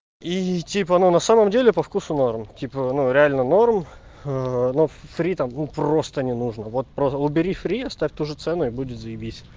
и типа ну на самом деле по вкусу норм типа ну реально норм но фри там просто не нужно вот просто убери фри оставь ту же цену и будет заебись